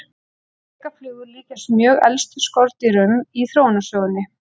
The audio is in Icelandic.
Drekaflugur líkjast mjög elstu skordýrunum í þróunarsögunni.